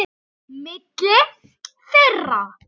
Milli þeirra